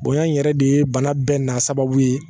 Bonya in yɛrɛ de ye bana bɛɛ n'a sababu ye